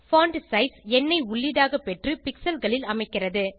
font size எண்ணை உள்ளீடாக பெற்று pixelகளில் அமைக்கிறது